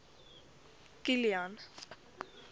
kilian